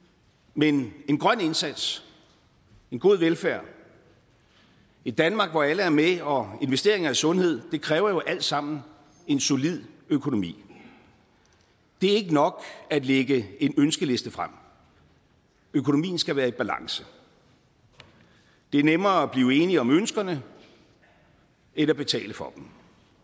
men en grøn indsats en god velfærd et danmark hvor alle er med og investeringer i sundhed kræver jo alt sammen en solid økonomi det er ikke nok at lægge en ønskeliste frem økonomien skal være i balance det er nemmere at blive enige om ønskerne end at betale for dem